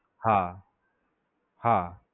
હા, હા